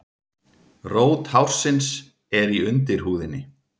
Rót hársins er í undirhúðinni.